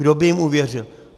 Kdo by jim uvěřil?